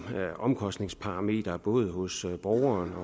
omkostningsparameter både hos borgerens og